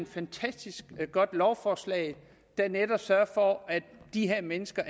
fantastisk godt lovforslag der netop sørger for at de her mennesker